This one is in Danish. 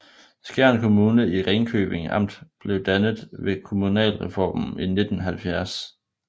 Skjern Kommune i Ringkøbing Amt blev dannet ved kommunalreformen i 1970